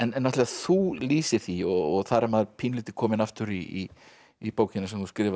þú lýsir því og þar er maður pínulítið kominn aftur í í bókina sem þú skrifaðir